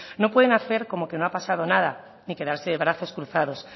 no pueden hacer como que no ha pasado nada ni quedarse de brazos cruzados